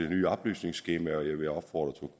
nye oplysningsskema jeg vil opfordre